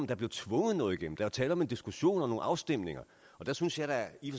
der bliver tvunget noget igennem der er jo tale om en diskussion og nogle afstemninger der synes jeg da i